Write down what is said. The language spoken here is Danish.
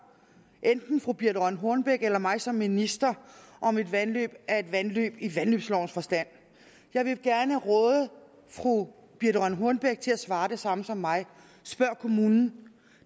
enten fru birthe rønn hornbech eller mig som minister om et vandløb er et vandløb i vandløbsloven forstand jeg vil gerne råde fru birthe rønn hornbech til at svare det samme som mig spørg kommunen